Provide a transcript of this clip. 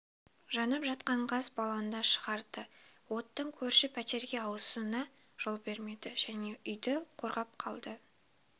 жанып жатқан газ баллонды шығарды оттың көрші пәтерге ауысына жол бермеді және үйді қорғап қалды